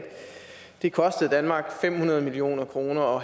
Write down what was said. det kostede danmark fem hundrede million kroner